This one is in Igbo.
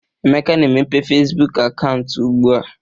Emeka na-emepe Fesibuuku akaụntụ ugbua.